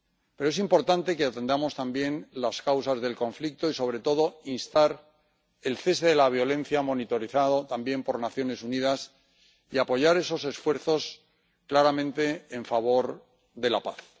Pero es importante que atendamos también las causas del conflicto y, sobre todo, instar al cese de la violencia, monitorizado también por las Naciones Unidas, y apoyar claramente esos esfuerzos en favor de la paz.